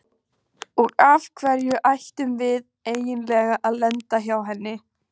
Og af hverju ættum við endilega að lenda hjá henni?